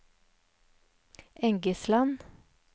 Engesland